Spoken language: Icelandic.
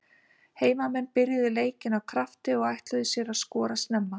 Heimamenn byrjuðu leikinn af krafti og ætluðu sér að skora snemma.